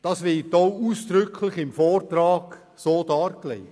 Das wird im Vortrag auch ausdrücklich so dargelegt.